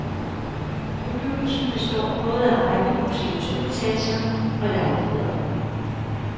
Bebyggelsen består både af rækkehuse i to etager og lejligheder.